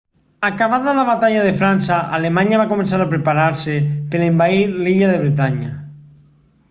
acabada la batalla de frança alemanya va començar a preparar-se per a envair l'illa de bretanya